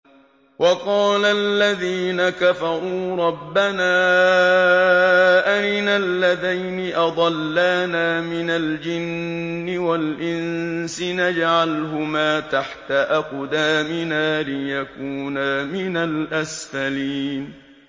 وَقَالَ الَّذِينَ كَفَرُوا رَبَّنَا أَرِنَا اللَّذَيْنِ أَضَلَّانَا مِنَ الْجِنِّ وَالْإِنسِ نَجْعَلْهُمَا تَحْتَ أَقْدَامِنَا لِيَكُونَا مِنَ الْأَسْفَلِينَ